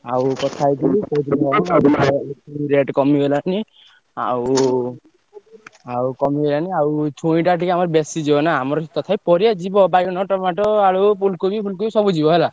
ଆଉ କଥା ହେଇଯିବି କେଇ ସବୁ rate କମିଗଲାଣି। ଆଉ ଆଉ କମିଗଲାଣି ଆଉ ଛୁଇଁଟା ଟିକେ ଆମର ବେଶୀ ଯିବ ନା। ଆମର ତଥାପି ପରିବା ଯିବ ବାଇଗଣ, tomato ଆଳୁ, ଫୁଲକୋବି ଫୁଲକୋବି ସବୁ ଯିବ ହେଲା।